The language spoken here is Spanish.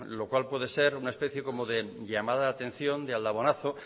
lo cual puede ser una especia como de llamada de atención de aldabonazo